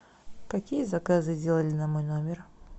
какие заказы сделали на мой номер